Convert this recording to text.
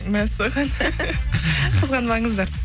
мәссаған қызғанбаңыздар